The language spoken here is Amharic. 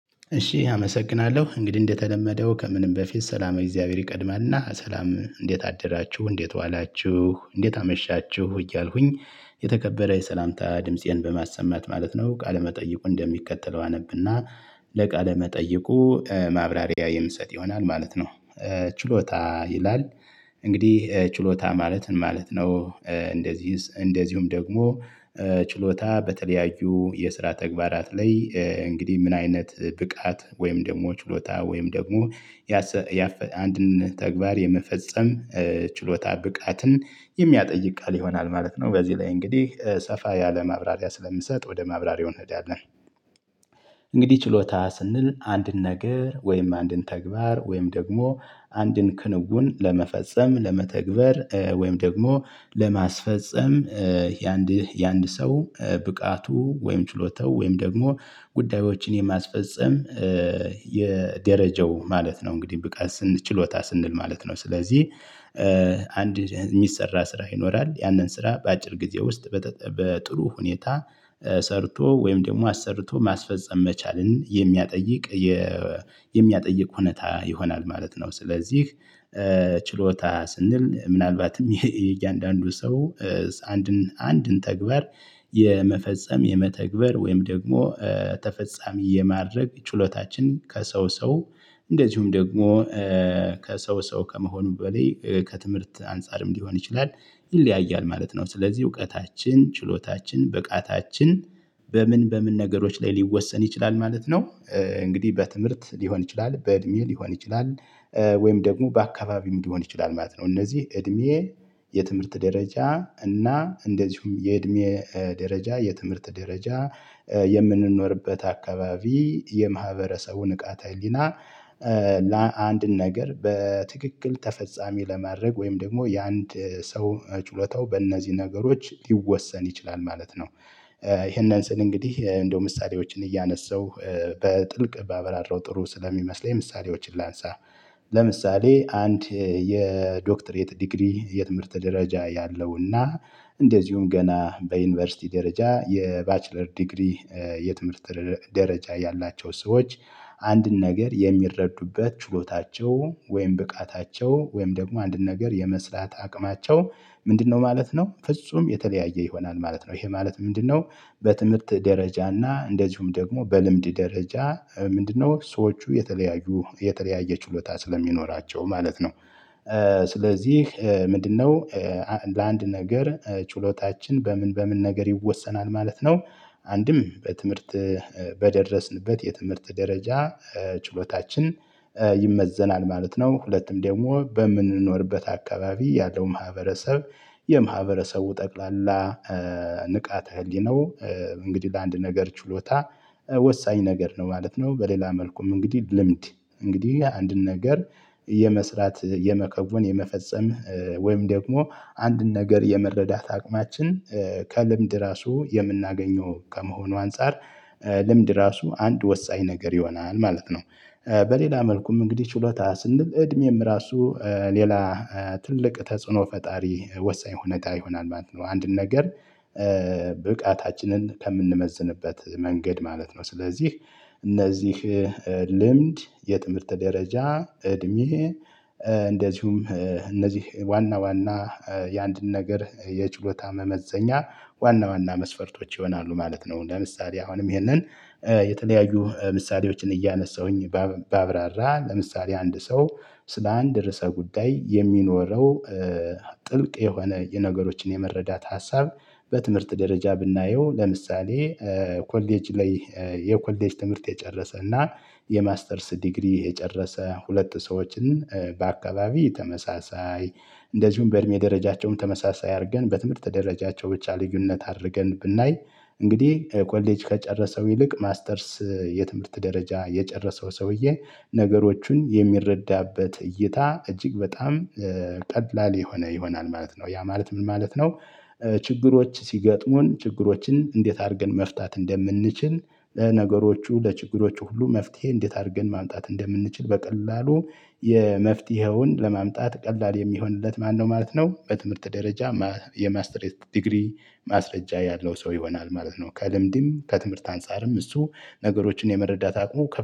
እሺ አመሰግናለሁ እንግዲህ እንደተለመደው ከምንም በፊት ሰላመ እግዚአብሔር ይቀድማልና ሰላም እንዴት አደራችሁ እንዴት ዋላችሁ እንዴት አመሻችሁ እያልኩኝ የተከበረ የሰላምታ ድምፄን በማሰማት ማለት ነው ቃለመጠይቁን እንደሚከተለው አነብና። ለቃለ መጠይቁ ማብራሪያ የምሰጥ ይሆናል ማለት ነው። ችሎታ ይላል። እንግዲህ ችሎታ ማለት ምን ማለት ነው? እንደዚህስ እንደዚሁም ደግሞ። ችሎታ በተለያዩ የስራ ተግባራት ላይ እንግዲህ ምን አይነት ብቃት ወይም ደግሞ ችሎታ ወይም ደግሞ። አንድን ተግባር የመፈጸም ችሎታ ብቃትን የሚያጠይቅ ቃል ይሆናል ማለት ነው። በዚህ ላይ እንግዲህ ሰፋ ያለ ማብራሪያ ስለምሰጥ ወደ ማብራሪያው እንሄዳለን። እንግዲህ ችሎታ ስንል አንድን ነገር ወይም አንድን ተግባር ወይም ደግሞ አንድን ክንውን ለመፈጸም ለመተግበር ወይም ደግሞ ለማስፈፀም የአንድ የአንድ ሰው ብቃቱ ወይም ችሎታው ወይም ደግሞ ጉዳዮችን የማስፈጸም የደረጃው ማለት ነው። እንግዲህ ብቃት ስንል ችሎታ ስንል ማለት ነው። ስለዚህ አንድ የሚሰራ ስራ ይኖራል ያንን ስራ በአጭር ጊዜ ውስጥ በጥሩ ሁኔታ ሰርቶ ወይም ደግሞ አሰርቶ ማስፈጸም መቻልን የሚያጠይቅ የሚያጠይቅ ሁኔታ ይሆናል ማለት ነው። ስለዚህ። ችሎታ ስንል ምናልባትም የእያንዳንዱ ሰው አንድን አንድን ተግባር የመፈጸም የመተግበር ወይም ደግሞ ተፈጻሚ የማድረግ ችሎታችን ከሰው ሰው እንደዚሁም ደግሞ ከሰው ሰው ከመሆኑም በላይ ከትምህርት አንፃርም ሊሆን ይችላል ይለያያል ማለት ነው። ስለዚህ እውቀታችን ችሎታችን ብቃታችን በምን በምን ነገሮች ላይ ሊወሰን ይችላል ማለት ነው። እንግዲህ በትምህርት ሊሆን ይችላል በእድሜ ሊሆን ይችላል ወይም ደግሞ በአካባቢም ሊሆን ይችላል ማለት ነው። እነዚህ እድሜ የትምህርት ደረጃ እና እንደዚሁም የእድሜ ደረጃ የትምህርት ደረጃ የምንኖርበት አካባቢ የማህበረሰቡ ንቃት ህሊና። ለአንድን ነገር በትክክል ተፈጻሚ ለማድረግ ወይም ደግሞ የአንድ ሰው ችሎታው በእነዚህ ነገሮች ሊወሰን ይችላል ማለት ነው። ይሄንን ስል እንግዲህ እንደው ምሳሌዎችን እያነሳው በጥልቅ ባብራራው ጥሩ ስለሚመስለኝ ምሳሌዎችን ላንሳ። ለምሳሌ አንድ የዶክትሬት ዲግሪ የትምህርት ደረጃ ያለውና እንደዚሁም ገና በዩኒቨርሲቲ ደረጃ የባችለር ዲግሪ የትምህርት ደረጃ ያላቸው ሰዎች አንድን ነገር የሚረዱበት ችሎታቸው ወይም ብቃታቸው ወይም ደግሞ አንድን ነገር የመስራት አቅማቸው። ምንድነው ማለት ነው ፍጹም የተለያየ ይሆናል ማለት ነው ይሄ ማለት ምንድነው? በትምህርት ደረጃና እንደዚሁም ደግሞ በልምድ ደረጃ ምንድነው ሰዎቹ የተለያዩ የተለያየ ችሎታ ስለሚኖራቸው ማለት ነው። ስለዚህ ምንድነው? ለአንድ ነገር ችሎታችን በምን በምን ነገር ይወሰናል ማለት ነው። አንድም በትምህርት በደረስንበት የትምህርት ደረጃ ችሎታችን ይመዘናል ማለት ነው። ሁለትም ደግሞ በምንኖርበት አካባቢ ያለው ማህበረሰብ የማህበረሰቡ ጠቅላላ ንቃተ ህሊናው እንግዲህ ለአንድ ነገር ችሎታ ወሳኝ ነገር ነው ማለት ነው። በሌላ መልኩም እንግዲህ ልምድ እንግዲህ አንድን ነገር የመስራት የመከወን የመፈጸም ወይም ደግሞ አንድን ነገር የመረዳት አቅማችን ከልምድ ራሱ የምናገኘው ከመሆኑ አንፃር ልምድ ራሱ አንድ ወሳኝ ነገር ይሆናል ማለት ነው። በሌላ መልኩም እንግዲህ ችሎታ ስንል እድሜም ራሱ ሌላ ትልቅ ተጽዕኖ ፈጣሪ ወሳኝ ሁኔታ ይሆናል ማለት ነው። አንድን ነገር ብቃታችንን ከምንመዝንበት መንገድ ማለት ነው። ስለዚህ እነዚህ ልምድ የትምህርት ደረጃ እድሜ እንደዚሁም እነዚህ ዋና ዋና የአንድን ነገር የችሎታ መመዘኛ ዋና ዋና መስፈርቶች ይሆናሉ ማለት ነው። ለምሳሌ አሁንም ይህንን የተለያዩ ምሳሌዎችን እያነሳሁኝ ባብራራ ለምሳሌ አንድ ሰው ስለ አንድ ርዕሰ ጉዳይ የሚኖረው ጥልቅ የሆነ የነገሮችን የመረዳት ሀሳብ። በትምህርት ደረጃ ብናየው ለምሳሌ። ኮሌጅ ላይ የኮሌጅ ትምህርት የጨረሰ እና የማስተርስ ዲግሪ የጨረሰ ሁለት ሰዎችን በአካባቢ ተመሳሳይ እንደዚሁም በእድሜ ደረጃቸውም ተመሳሳይ አድርገን በትምህርት ደረጃቸው ብቻ ልዩነት አድርገን ብናይ እንግዲህ ኮሌጅ ከጨረሰው ይልቅ ማስተርስ የትምህርት ደረጃ የጨረሰው ሰውዬ ነገሮቹን የሚረዳበት እይታ እጅግ በጣም ቀላል የሆነ ይሆናል ማለት ነው። ያ ማለት ምን ማለት ነው? ችግሮች ሲገጥሙን ችግሮችን እንዴት አድርገን መፍታት እንደምንችል ለነገሮቹ ለችግሮቹ ሁሉ መፍትሄ እንዴት አድርገን ማምጣት እንደምንችል በቀላሉ የመፍትሄውን ለማምጣት ቀላል የሚሆንለት ማነው ማለት ነው? በትምህርት ደረጃ የማስትሬት ዲግሪ ማስረጃ ያለው ሰው ይሆናል ማለት ነው። ከልምድም ከትምህርት አንፃርም እሱ ነገሮችን የመረዳት አቅሙ